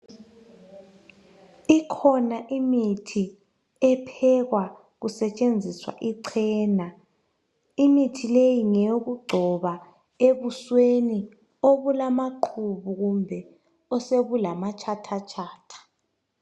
Ikhona imithi ephekwa kusetshenziswa ichena imithi leyi ngeyokugcoba ebusweni obulamaqubu kumbe osebulamatshatha tshatha.